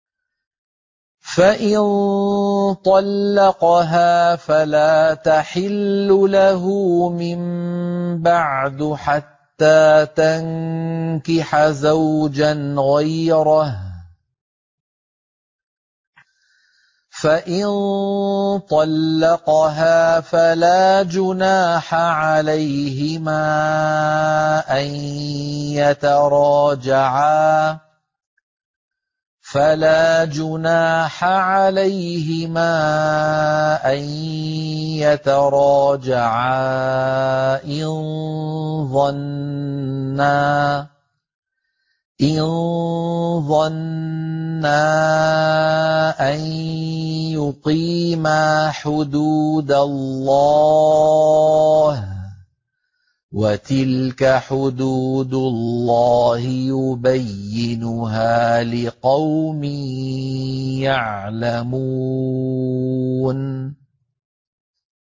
فَإِن طَلَّقَهَا فَلَا تَحِلُّ لَهُ مِن بَعْدُ حَتَّىٰ تَنكِحَ زَوْجًا غَيْرَهُ ۗ فَإِن طَلَّقَهَا فَلَا جُنَاحَ عَلَيْهِمَا أَن يَتَرَاجَعَا إِن ظَنَّا أَن يُقِيمَا حُدُودَ اللَّهِ ۗ وَتِلْكَ حُدُودُ اللَّهِ يُبَيِّنُهَا لِقَوْمٍ يَعْلَمُونَ